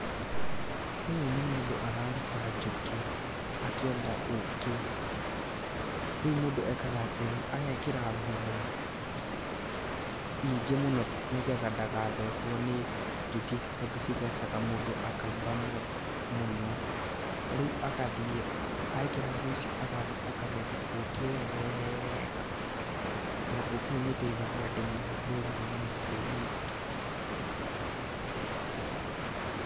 Ũyũ nĩ mũndũ araruta njũkĩ akĩenda ũkĩ. Rĩu mũndũ ekaga atĩrĩrĩ, agekĩra nguo nyingĩ mũno, nĩgetha ndagathecwo nĩ njũkĩ ici, tondũ cithecaga mũndũ akaimba mũno, rĩũ agathiĩ, ekĩra nguo icio agathiĩ akagetha ũkĩ ũyũ wega, na ũkĩ ũyũ nĩ ũteithagia andũ mũno rũrĩrĩ-inĩ rũrũ rwitũ.